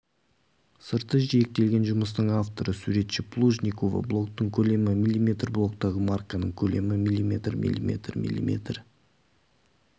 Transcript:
сырты жиектелген жұмыстың авторы суретші плужникова блоктың көлемі мм блоктағы марканың көлемі мм мм мм